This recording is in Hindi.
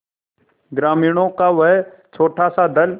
ग्रामीणों का वह छोटासा दल